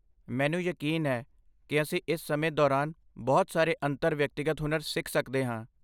ਮੈਨੂੰ ਯਕੀਨ ਹੈ ਕਿ ਅਸੀਂ ਇਸ ਸਮੇਂ ਦੌਰਾਨ ਬਹੁਤ ਸਾਰੇ ਅੰਤਰ ਵਿਅਕਤੀਗਤ ਹੁਨਰ ਸਿੱਖ ਸਕਦੇ ਹਾਂ